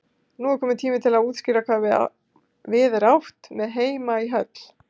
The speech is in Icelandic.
Nú er kominn tími til að útskýra hvað við er átt með heima í höll.